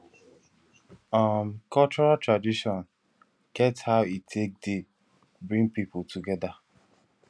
um cultural tradition get how e take dey bring pipo together